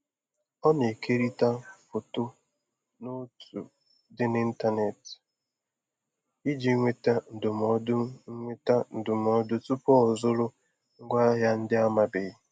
Ọ na-ekerịta foto na otu dị n'intanetị iji nweta ndụmọdụ nweta ndụmọdụ tupu ọzụrụ ngwaahịa ndị amabeghị.